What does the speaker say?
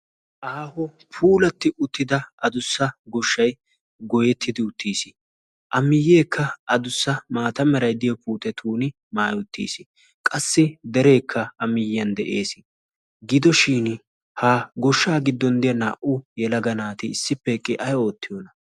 Aaho puulatti uttida adussa goshshay goyettidi uttiis. A miyyeekka adussa maata meray de'iyo puutetuuni maayi uttiis. Qassi dereekka a miyyiyan de'ees. Gido shin ha goshshaa giddon de'iya naa'u yelaga naati issippe eqqi ay oottiyoona?